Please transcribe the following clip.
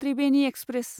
Tribeni express